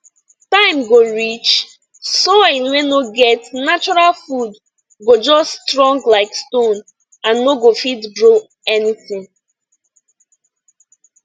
time go reach soil wey no get natural food go just strong like stone and no go fit grow anything